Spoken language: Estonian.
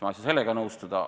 Ma ei saa sellega nõustuda.